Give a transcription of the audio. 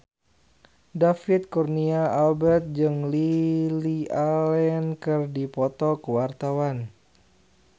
David Kurnia Albert jeung Lily Allen keur dipoto ku wartawan